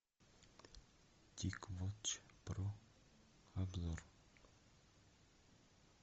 тик вотч про обзор